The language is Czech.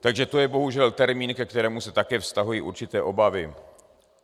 Takže to je bohužel termín, ke kterému se také vztahují určité obavy.